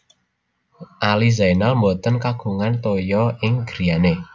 Ali Zainal mboten kagungan toya ing griyane